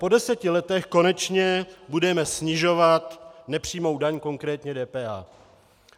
Po deseti letech konečně budeme snižovat nepřímou daň, konkrétně DPH.